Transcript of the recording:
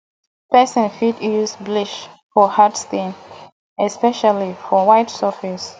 person fit use bleach for hard stain especially for white surface